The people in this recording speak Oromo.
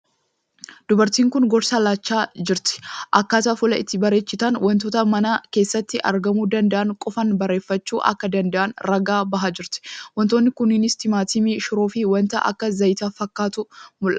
Dubartiin kuni gorsa laachaa jirti. Akkaataa fuula itti barechitan wantoota mana keessatti argamuu danda'an qofaan bareechifachuu akka danda'an ragaa bahaa jirti. Wantootni kunniinis timaatimii, shiroo fii wanta akka zayitii fa'atu mul'ata.